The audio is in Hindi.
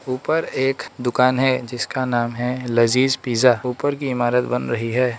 ऊपर एक दुकान है जिसका नाम है लजीज पिज़्ज़ा ऊपर की इमारत बन रही है।